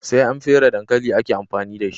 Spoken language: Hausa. Sai an fere dankali ake amfani dashi